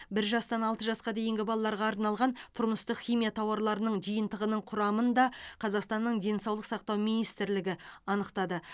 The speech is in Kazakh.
бір жастан алты жасқа дейінгі балаларға арналған тұрмыстық химия тауарларының жиынтығының құрамын да қазақстанның денсаулық сақтау министрлігі анықтады